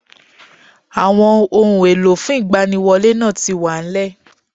Àwon ohun èlò fún ìgbaniwọlé náà ti wà nlẹ̀